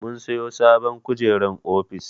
Mun sayi sabon kujerar ofis.